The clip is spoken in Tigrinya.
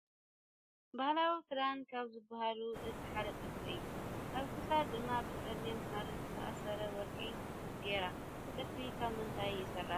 ባህላዊ ክዳን ካብ ዝባሃሉ እቲ ሓደ ጥልፊ እዩ ። ኣብ ክሳዳ ድማ ብፀሊም ሃሪ ዝተኣሰረ ወርቂ ገይራ ። እቲ ጥልፊ ካብ ምንታይ ይስራሕ ?